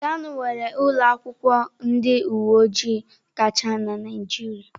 Kano nwere ụlọ akwụkwọ ndị uwe ojii kacha na Naịjirịa.